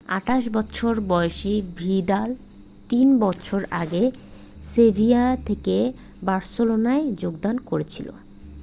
28 বছর বয়সী ভিদাল 3 বছর আগে সেভিয়া থেকে বার্সেলোনায় যোগদান করেছিল